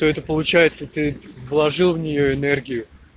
это получается ты положил в нее энергию